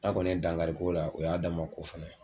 N'a kɔni ye dankari k'o la o y'a damana ko fɛnɛ ye.